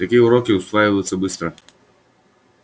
такие уроки усваиваются быстро